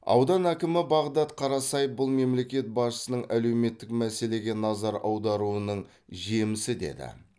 аудан әкімі бағдат қарасаев бұл мемлекет басшысының әлеуметтік мәселеге назар аударуының жемісі деді